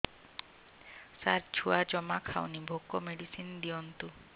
ସାର ଛୁଆ ଜମା ଖାଉନି ଭୋକ ମେଡିସିନ ଦିଅନ୍ତୁ